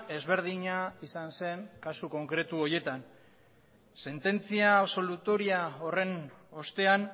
ezberdina izan zen kasu konkretu horietan sententzia absolutoria horren ostean